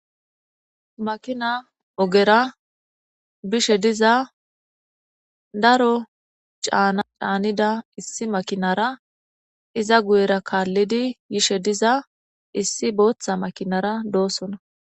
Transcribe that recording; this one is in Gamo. Makina ogera bishshe diza daro caana canida issi makkira iza guyera kalidi yishshe diza issi boththa makinara dosona